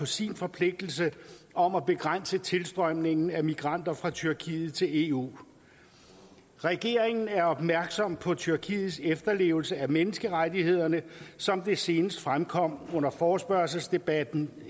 sin forpligtelse om at begrænse tilstrømningen af migranter fra tyrkiet til eu regeringen er opmærksom på tyrkiets efterlevelse af menneskerettighederne som det senest fremkom under forespørgselsdebatten